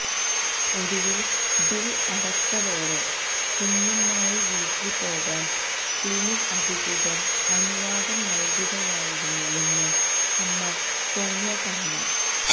ഒടുവിൽ ബിൽ അടച്ചതോടെ കുഞ്ഞുമായി വീട്ടിൽ പോകാൻ ക്ലിനിക് അധികൃതർ അനുവാദം നൽകുകയായിരുന്നുവെന്ന് അമ്മ സോണിയ പറഞ്ഞു